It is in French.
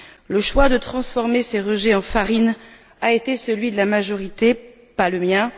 Le choix de transformer ces rejets en farines a été celui de la majorité, pas le mien.